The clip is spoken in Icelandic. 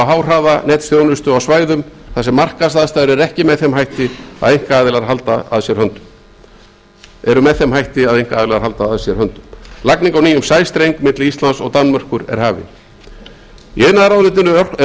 háhraðanetþjónustu á svæðum þar sem markaðsaðstæður eru með þeim hætti að einkaaðilar halda að sér höndum lagning á nýjum sæstreng milli íslands og danmerkur er hafin í iðnaðarráðuneytinu eru